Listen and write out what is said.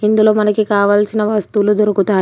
ఇందులో మనకి కావాల్సిన వస్తువులు దొరుకుతాయి.